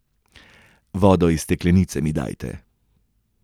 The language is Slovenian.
Vodo iz steklenice mi dajte.